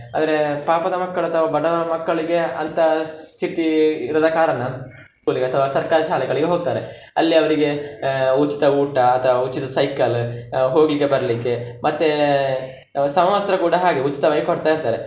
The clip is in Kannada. ಅಂದ್ರೆ ಪಾಪದ ಮಕ್ಕಳು ಅಥವಾ ಬಡವರ ಮಕ್ಕಳಿಗೆ ಅಂತ ಸ್ಥಿತಿ ಇರದ ಕಾರಣ school ಗೆ ಅಥವಾ ಸರ್ಕಾರಿ ಶಾಲೆಗಳಿಗೆ ಹೋಗ್ತಾರೆ, ಅಲ್ಲಿ ಅವ್ರಿಗೆ ಆಹ್ ಉಚಿತ ಊಟ, ಅಥವಾ ಉಚಿತ cycle ಹೋಗ್ಲಿಕ್ಕೆ ಬರ್ಲಿಕ್ಕೆ, ಮತ್ತೆ ಸಮವಸ್ತ್ರ ಕೂಡ ಹಾಗೆ ಉಚಿತವಾಗಿ ಕೊಡ್ತ ಇರ್ತಾರೆ.